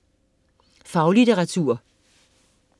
Faglitteratur